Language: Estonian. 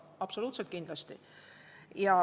Absoluutselt kindlasti.